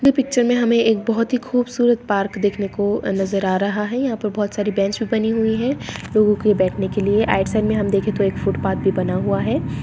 Picture मे हमे एक बहुत ही खूबसूरत पार्क देखने को नजर आ रहा है| यहाँ पर बहुत सारी बेंच भी बनी हुई है लोगों के बैठने के लिए| राइट साइड मे देखे तो एक फुटपाथ भी बना हुआ है।